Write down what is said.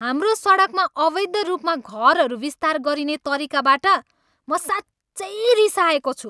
हाम्रो सडकमा अवैध रूपमा घरहरू विस्तार गरिने तरिकाबाट म साँच्चै रिसाएको छु।